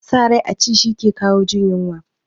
Sa rai a ci shi ke kawo jin yunwa